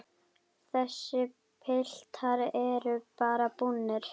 Þessir piltar eru bara búnir.